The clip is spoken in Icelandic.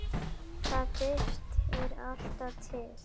Það birtir alltaf til.